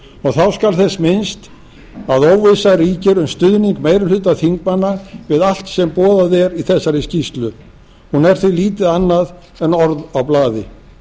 þá skal þess minnst að óvissa ríkir um stuðning meiri hluta þingmanna við allt sem boðað er í þessari skýrslu hún er því lítið annað en orð á blaði